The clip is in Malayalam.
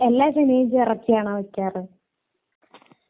നന്ദി നമസ്ക്കാരം